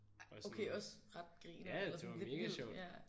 Okay også ret grineren eller sådan lidt vildt ja